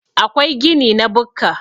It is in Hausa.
akwai gini na bukka